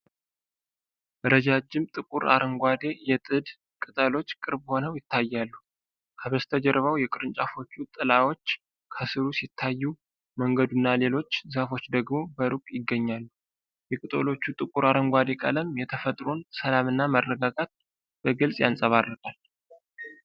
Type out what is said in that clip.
ረጃጅም ጥቁር አረንጓዴ የጥድ ቅጠሎች ቅርብ ሆነው ይታያሉ። ከበስተጀርባው የቅርንጫፎቹ ጥላዎች ከስሩ ሲታዩ፣ መንገዱና ሌሎች ዛፎች ደግሞ በሩቅ ይገኛሉ። የቅጠሎቹ ጥቁር አረንጓዴ ቀለም የተፈጥሮን ሰላምና መረጋጋት በግልጽ ያንጸባርቃል።